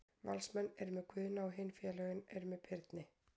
Valsmenn eru með Guðna og hin félögin eru með Birni.